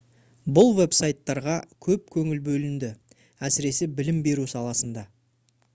бұл веб-сайттарға көп көңіл бөлінді әсіресе білім беру саласында